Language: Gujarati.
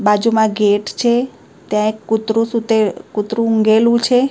બાજુમાં ગેટ છે ત્યાં એક કૂતરું સુતે કૂતરું ઉઘેલું છે.